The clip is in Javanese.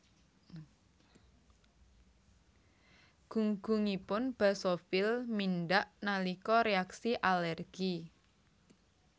Gunggungipun basofil mindhak nalika reaksi alergi